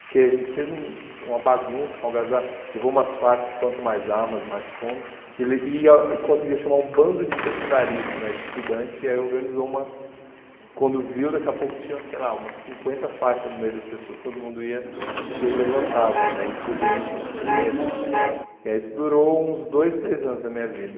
porque a gente fez uma bagunça, uma algazarra, levou umas faixas, quanto mais armas, mais fome, e le e ah e conseguiu chamar um bando de secundaristas, né de estudantes, e aí organizou uma, quando viu, daqui a pouco tinha, sei lá, umas cinquenta faixas no meio das pessoas, todo mundo ia, só que ele levantava, né e aí distribuindo panfleto, e aí isso durou uns dois, três anos da minha vida.